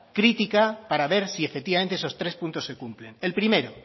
crítica para ver si efectivamente esos tres puntos se cumplen el primero